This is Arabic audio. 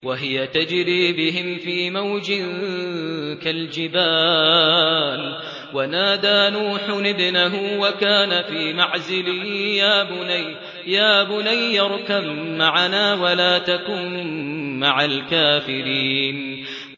وَهِيَ تَجْرِي بِهِمْ فِي مَوْجٍ كَالْجِبَالِ وَنَادَىٰ نُوحٌ ابْنَهُ وَكَانَ فِي مَعْزِلٍ يَا بُنَيَّ ارْكَب مَّعَنَا وَلَا تَكُن مَّعَ الْكَافِرِينَ